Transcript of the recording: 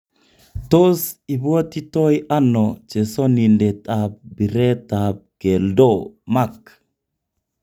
Tos ibwotitoi ano chesonindet ab biret ab keldo Mark?